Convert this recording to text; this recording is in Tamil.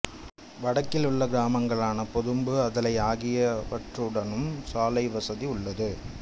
வடக்கில் உள்ள கிராமங்களான பொதும்பு அதலை ஆகியவற்றுடனும் சாலைவசதி உள்ளது